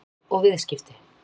Vald og viðskipti.